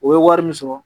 O ye wari min sɔrɔ